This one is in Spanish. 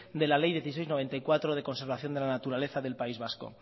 de la ley dieciséis barra noventa y cuatro de conservación de la naturaleza del país vasco